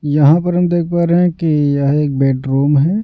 यहाँ पर हम देख पा रहे हैं कि यह एक बेडरूम है।